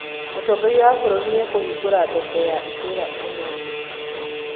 Mũtongoria wa bũrũri nĩ ekũhingũra thoko ya itũũra ũmũthĩ